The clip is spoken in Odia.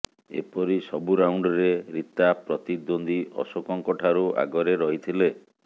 ଏପରି ସବୁ ରାଉଣ୍ଡରେ ରୀତା ପ୍ରତିଦ୍ୱନ୍ଦ୍ୱୀ ଅଶୋକଙ୍କଠାରୁ ଆଗରେ ରହିଥିଲେ